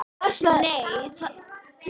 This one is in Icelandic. Nei, það er ekki það.